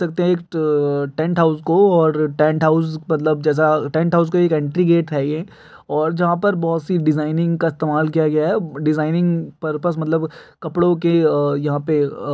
देख सकते हैं एक टेंट हाउस को और टेंट हाउस मतलब जैसा टेंट हाउस का एंट्री गेट है ये। जहाँ पर बहुत सी डिज़ाइनिंग का इस्तेमाल किया गया है। डिजाइनिंग पर्पस मतलब कपड़ो के यहाँ पे अ --